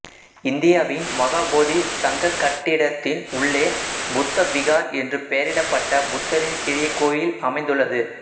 இந்தியாவின் மகா போதி சங்கக் கட்டிடத்தின் உள்ளே புத்த விகார் என்று பெயரிடப்பட்ட புத்தரின் சிறிய கோயில் அமைந்துள்ளது